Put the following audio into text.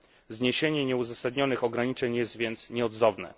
Zniesienie nieuzasadnionych ograniczeń jest więc nieodzowne.